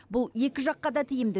бұл екі жаққа да тиімді